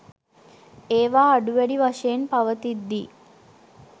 ඒවා අඩු වැඩි වශයෙන් පවතිද්දී